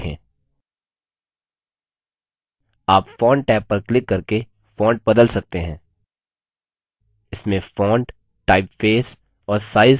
आप font tab पर click करके font बदल सकते हैं इसमें font typeface और size